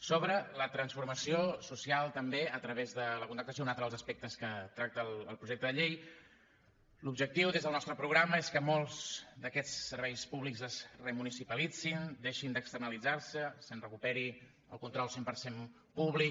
sobre la transformació social també a través de la contractació un altre dels aspectes que tracta el projecte de llei l’objectiu des del nostre programa és que molts d’aquests serveis públics es remunicipalitzin deixin d’externalitzar se se’n recuperi el control cent per cent públic